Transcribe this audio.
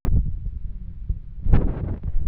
Tiga maheni